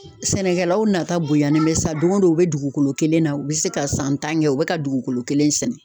Sɛnɛkɛlaw nata bonya nin bɛ sa don o don u bɛ dugukolo kelen na u bɛ se ka san tan kɛ u bɛ ka dugukolo kelen sɛnɛ